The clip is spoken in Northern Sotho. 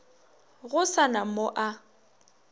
go sa na mo a